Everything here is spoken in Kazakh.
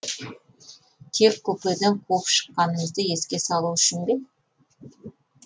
тек купеден қуып шыққанымызды еске салу үшін бе